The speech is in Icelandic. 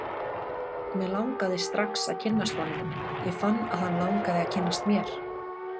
Mig langaði strax að kynnast honum, ég fann að hann langaði að kynnast mér.